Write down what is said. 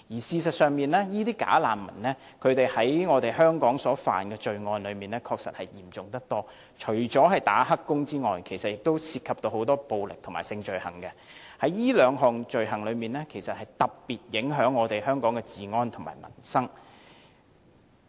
事實上，"假難民"在香港觸犯的罪行確實相當嚴重，除了當"黑工"之外，還涉及很多暴力和性罪行，這兩種罪行對香港治安和民生的影響特別重大。